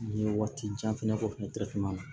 N ye waati jan fana kɛ fɛnɛ